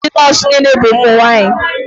Ọ bụghị ndị nọọsụ niile bụ ụmụ nwanyị.